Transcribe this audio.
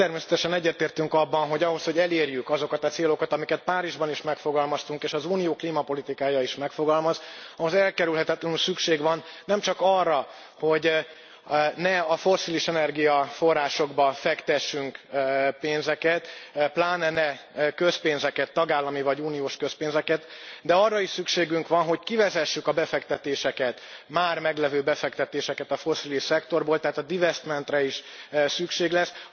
Természetesen egyetértünk abban, hogy ahhoz, hogy elérjük azokat a célokat, amiket Párizsban is megfogalmaztunk, és az Unió klímapolitikája is megfogalmaz, ahhoz elkerülhetetlenül szükség van nemcsak arra, hogy ne a fosszilis energiaforrásokba fektessünk pénzeket, pláne ne közpénzeket, tagállami vagy uniós közpénzeket, de arra is, hogy kivezessük a befektetéseket, már meglevő befektetéseket a fosszilis szektorból, tehát a divesztmentre is szükség lesz.